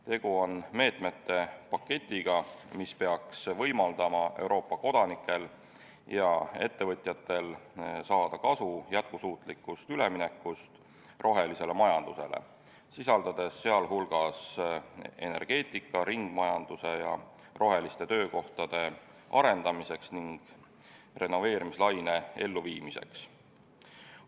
Tegu on meetmete paketiga, mis peaks võimaldama Euroopa kodanikel ja ettevõtjatel saada kasu jätkusuutlikust üleminekust rohelisele majandusele, sisaldades meetmeid energeetika, ringmajanduse ja roheliste töökohtade arendamiseks ning renoveerimislaine elluviimiseks.